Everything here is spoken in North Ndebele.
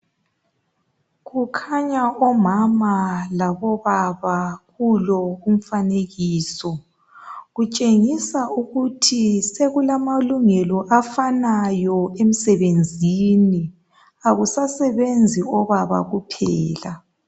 Kukhanya omama labobaba kulo umfanekiso kutshengisa ukuthi sokulamalungelo afanayo emsebenzini akusasebenzi obaba kuphela.